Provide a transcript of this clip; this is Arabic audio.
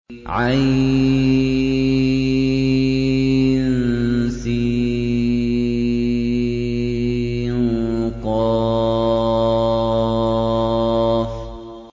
عسق